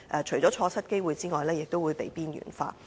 除了錯失機會外，亦會被邊緣化。